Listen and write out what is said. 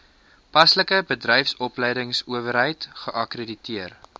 paslike bedryfsopleidingsowerheid geakkrediteer